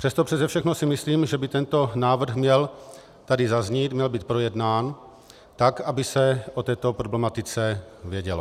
Přesto přese všechno si myslím, že by tento návrh měl tady zaznít, měl být projednán tak, aby se o této problematice vědělo.